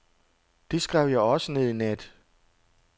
Det skrev jeg også ned i nat.